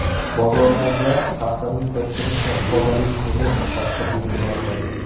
Bozorlarda haftaning bir kuni Tozalik kuni sifatida belgilanadi.